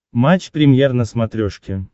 матч премьер на смотрешке